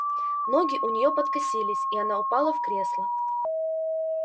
ноги у неё подкосились и она упала в кресло